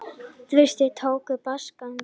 Þverstrikin tákna basaltganga.